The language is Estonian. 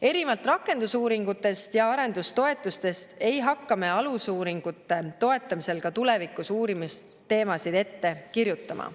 Erinevalt rakendusuuringutest ja arendustoetustest ei hakka me alusuuringute toetamisel ka tulevikus uurimisteemasid ette kirjutama.